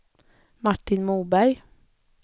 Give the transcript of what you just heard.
Martin Moberg